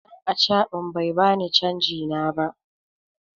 Dan acaban bai bani canji na ba.